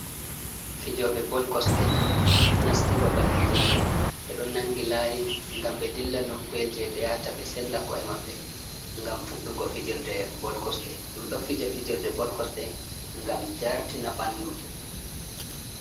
Fijoɓe bol kosɗe, nasti ɓaɓal fijerɗe. Ɓe ɗo nangi layi, ngam ɓe ɗilla nokku'el je ɓe yata ɓe senɗa ko'e maɓɓe. Ngam fuɗɗugo fijerɗe bol kosɗe. Ɗum ɗo fija fijerɗe bol kosɗe ngam jartina ɓanɗu.